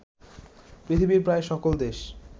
পৃথিবীর প্রায় সকল দেশ